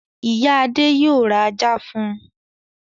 Ìyá Adé yóò ra ajá fún un.